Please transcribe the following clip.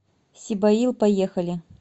сибоил поехали